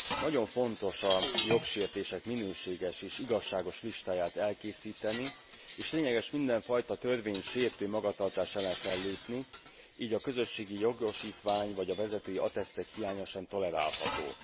Nagyon fontos a jogsértések minőségi és igazságos listáját elkészíteni, és lényeges mindenfajta törvénysértő magatartás ellen fellépni, így a közösségi jogosítvány, vagy a vezetői attesztek hiánya sem tolerálható.